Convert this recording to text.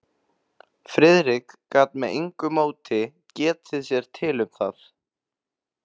Friðrik gat með engu móti getið sér til um það.